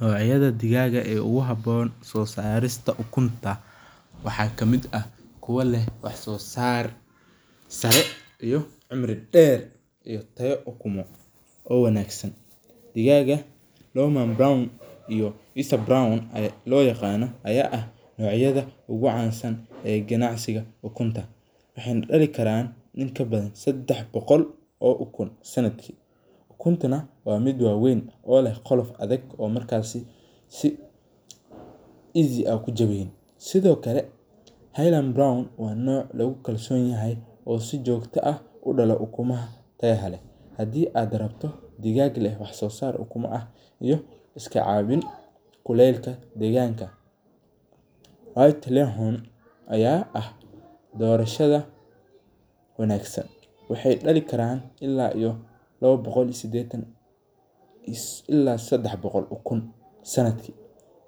Nocyada digaaga ee ogu haboon soo saarista ukunta waxaa kamid ah kuwo leh wax soo saar sare iyo cimri dheer iyo tayo ukumo oo wanaagsan, digaaga roman brown and visa brown loo yaqaana aya ah nocyada ogu caansan ee ganacsiga ukunta, waxayna dhali kaaran in kabadan sedax boqol oo ukun sanadkii, ukuntana waa mid waaweyn oo leh qolof adag oo markaasi si easy ah kujabaneynin, sidokale haynan brown waa noca logu kalson yahay oo si jogto ah u dhalo ukumaha tayada leh, hadii ad rabto digaag leh wax soo ukuma ah iyo iska caabin kulelka deegganka, white layer aya ah doorashada wanaagsan, waxay dhali karaan ila iyo labo boqol iyo sideetan ila iyo sedax boqol oo ukun sanadki,